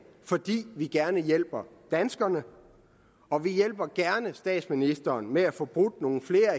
fordi vi gerne hjælper danskerne og vi hjælper gerne statsministeren med at få brudt nogle flere af